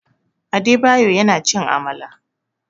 Adebayo yana cin Amala.